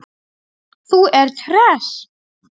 Þú ert hress!